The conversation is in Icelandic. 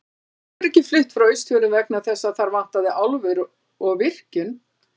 En fólk hefur ekki flutt frá Austfjörðum vegna þess að þar vantaði álver og virkjun.